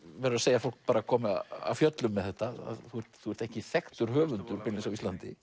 verður að segja að fólk kom af fjöllum með þetta þú ert þú ert ekki þekktur höfundur beinlínis á Íslandi